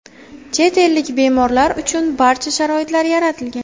Chet ellik bemorlar uchun barcha sharoitlar yaratilgan.